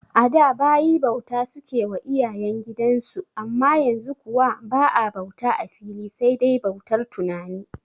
A da bayi bauta suke wa iyayen gidan su amma yanzu kuwa ba'a bauta a fili sai dai bautar tunani